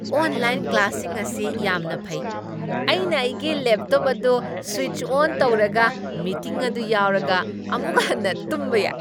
Online ꯀ꯭ꯂꯥꯁꯁꯤꯡ ꯑꯁꯤ ꯌꯥꯝꯅ ꯐꯩ꯫ ꯑꯩꯅ ꯑꯩꯒꯤ ꯂꯦꯞꯇꯣꯞ ꯑꯗꯨ ꯁ꯭ꯋꯤꯆ ꯑꯣꯟ ꯇꯧꯔꯒ, ꯃꯤꯇꯤꯡ ꯑꯗꯨ ꯌꯥꯎꯔꯒ ꯑꯃꯨꯛ ꯍꯟꯅ ꯇꯨꯝꯕ ꯌꯥꯏ꯫